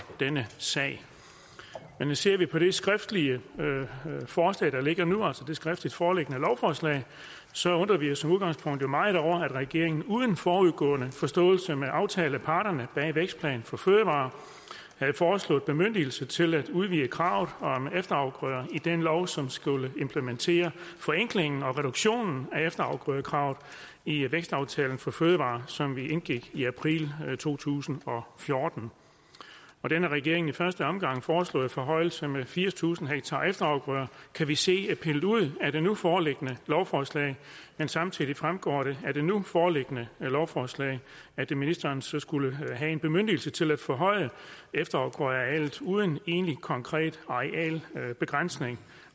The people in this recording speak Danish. denne sag men ser vi på det skriftlige forslag der ligger nu altså det skriftligt foreliggende lovforslag så undrer vi os som udgangspunkt jo meget over at regeringen uden forudgående forståelse med aftaleparterne bag vækstplan for fødevarer havde foreslået bemyndigelse til at udvide kravet om efterafgrøder i den lov som skulle implementere forenklingen og reduktionen af efterafgrødekravet i vækstaftalen for fødevarer som vi indgik i april to tusind og fjorten den af regeringen i første omgang foreslåede forhøjelse med firstusind ha efterafgrøder kan vi se er pillet ud af det nu foreliggende lovforslag men samtidig fremgår det af det nu foreliggende lovforslag at ministeren så skulle have en bemyndigelse til at forhøje efterafgrødearealet uden egentlig konkret arealbegrænsning